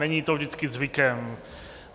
Není to vždycky zvykem.